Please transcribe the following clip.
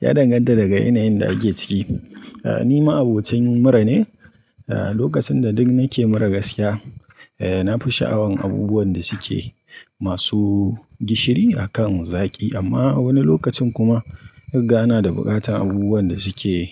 Ya danganta daga yanayin da ake ciki. Eh, ni ma'abocin mura ne. Ah, lokacin da duk nake mura gaskiya, eh, na fi sha'awan abubuwan da suke masu gishiri a kan zaƙi. Amma a wani lokacin kuma riga na da buƙatar abubuwan da suke